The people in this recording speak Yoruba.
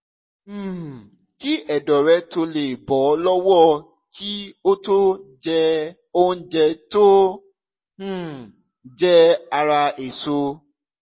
um kí ẹ̀dọ̀ rẹ tó lè bọ́ lọ́wọ́ kí o tó jẹ́ oúnjẹ tó um jẹ ara èso